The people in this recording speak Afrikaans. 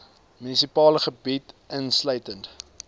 munisipale gebied insluitende